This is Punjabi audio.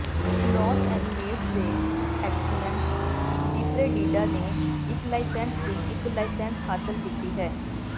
ਲੋਸ ਐਨੀਮੇਂਟਜ਼ ਦੇ ਐਕਸੀਅਨ ਡਿਫਰੇਡਿਡਾ ਨੇ ਇਕ ਲਾਇਸੈਂਸ ਦੀ ਇਕ ਲਾਇਸੈਂਸ ਹਾਸਲ ਕੀਤੀ ਹੈ